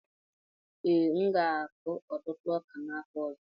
Ee, m ga-akụ ọtụtụ ọka n'afọ ọzọ.